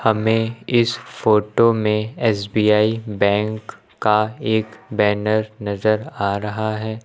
हमें इस फोटो में एस_बी_आई बैंक का एक बैनर नजर आ रहा है।